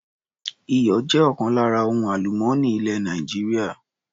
Iyọ̀ jẹ́ ọ̀kan lára ohun àlùmọ́nì ilẹ̀ Nàìjíríà.